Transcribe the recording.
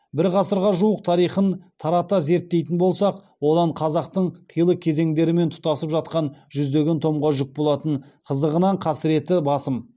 бір ғасырға жуық тарихын тарата зерттейтін болсақ одан қазақтың қилы кезеңдерімен тұтасып жатқан жүздеген томға жүк болатын қызығынан қасіреті басым